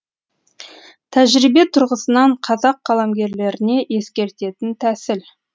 тәжірибе тұрғысынан қазақ қаламгерлеріне ескеретін тәсіл